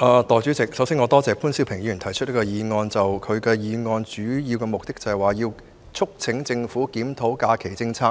代理主席，首先我感謝潘兆平議員提出這項議案，議案的主要目的是"促請政府檢討假期政策，